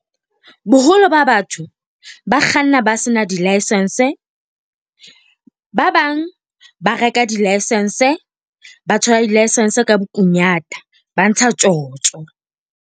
Boholo ba batho ba kganna ba sena di-licence, ba bang ba reka di-license. Ba thola di-licence ka bokunyata, ba ntsha tjotjo.